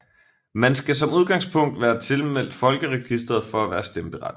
Man skal som udgangspunkt være tilmeldt folkeregistret for at være stemmeberettiget